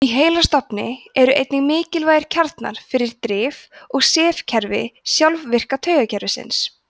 í heilastofni eru einnig mikilvægir kjarnar fyrir drif og sefkerfi sjálfvirka taugakerfisins